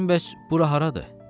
Dedim, bəs bura haradır?